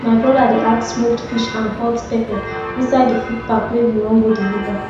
my broda dey add smoked fish and hot pepper inside the food pack wey we wan go deliver